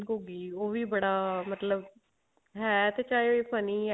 ਘੁੱਗੀ ਉਹ ਵੀ ਮਤਲਬ ਬੜਾ ਹੈ ਤੇ ਚਾਹੇ funny